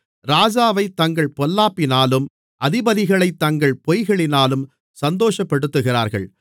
ராஜாவைத் தங்கள் பொல்லாப்பினாலும் அதிபதிகளைத் தங்கள் பொய்களினாலும் சந்தோஷப்படுத்துகிறார்கள்